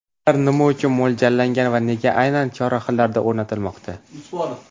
Ular nima uchun mo‘ljallangan va nega aynan chorrahalarda o‘rnatilmoqda?